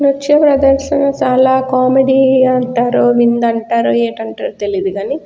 నృత్య ప్రదర్శనశాల కామెడీ అంటారో విందు అంటారో ఏటి అంటారో తెలియదు కానీ --